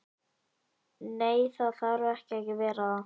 Nei, það þarf ekki að vera það.